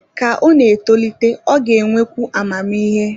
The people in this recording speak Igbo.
Ka ọ na-etolite, ọ ga-enwekwu amamihe